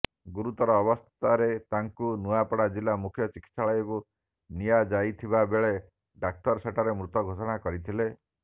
ଗୁରୁତର ଅବସ୍ଥାରେ ତାଙ୍କୁ ନୂଆପଡା ଜିଲା ମୁଖ୍ୟ ଚିକିତ୍ସାଳୟକୁ ନିଆଯାଇଥିବାବେଳେ ଡାକ୍ତର ସେଠାରେ ମୃତ ଘୋଷଣା କରିଥିଲେ